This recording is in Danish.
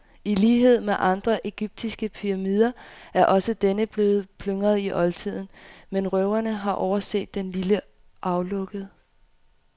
I lighed med andre egyptiske pyramider er også denne blevet plyndret i oldtiden, men røverne har overset det lille aflukke.